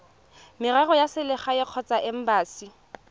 merero ya selegae kgotsa embasi